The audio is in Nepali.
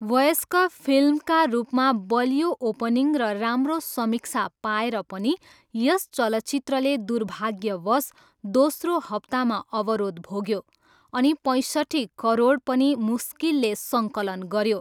वयस्क फिल्मका रूपमा बलियो ओपनिङ र राम्रो समीक्षा पाएर पनि यस चलचित्रले दुर्भाग्यवश दोस्रो हप्तामा अवरोध भोग्यो अनि पैँसट्ठी करोड पनि मुस्किलले सङ्कलन गऱ्यो।